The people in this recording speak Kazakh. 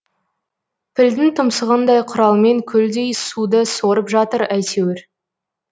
пілдің тұмсығындай құралмен көлдей суды сорып жатыр әйтеуір